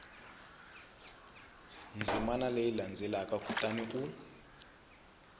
ndzimana leyi landzelaka kutani u